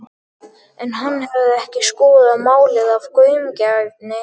En hann hafði ekki skoðað málið af gaumgæfni.